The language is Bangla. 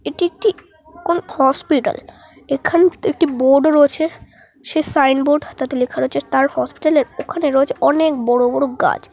একটি একটি কোন হসপিটাল । এখানে একটি বোর্ড রয়েছে। সে সাইনবোর্ড তাতে লেখা রয়েছে তার হসপিটাল - এর ওখানে রয়েছে অনে-ই- ক বড় বড় গাছ।